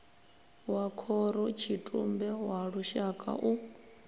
wa khorotshitumbe wa lushaka u